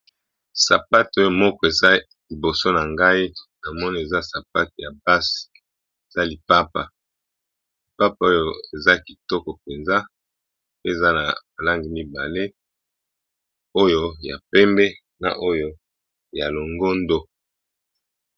Sapate oyo moko eza liboso na ngai namono eza sapate ya basi eza lipapa, lipapa oyo eza kitoko penza pe eza na ba langi mibale oyo ya pembe na oyo ya longondo.